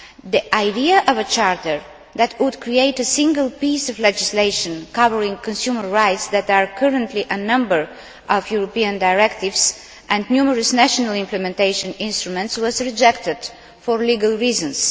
The idea of a charter that would create a single piece of legislation covering consumer rights that are currently included in a number of European directives and numerous national implementation instruments was rejected for legal reasons.